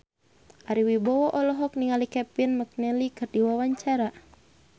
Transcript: Ari Wibowo olohok ningali Kevin McNally keur diwawancara